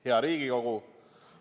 Hea Riigikogu!